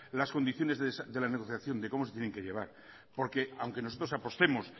las condiciones de la negociación de cómo se tienen que llevar porque aunque nosotros apostemos